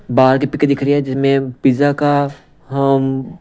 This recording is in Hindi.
बार की पिके दिख रही है जिसमे पिज्जा का हम--